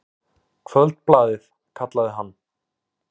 Kvöldblaðið, kallaði hann.